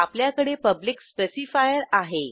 आपल्याकडे public specifier आहे